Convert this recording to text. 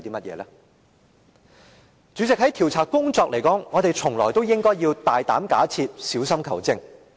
代理主席，就調查工作來說，我們從來都應"大膽假設，小心求證"。